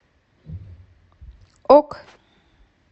ок